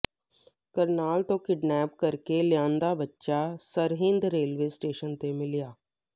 ਕਰਨਾਲ ਤੋਂ ਕਿਡਨੈਪ ਕਰਕੇ ਲਿਆਂਦਾ ਬੱਚਾ ਸਰਹਿੰਦ ਰੇਲਵੇ ਸਟੇਸ਼ਨ ਤੇ ਮਿਲਿਆ